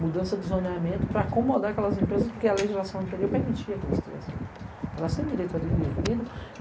Mudança de zoneamento para acomodar aquelas empresas, porque a legislação anterior permitia que elas tivessem direito a dever adquirido.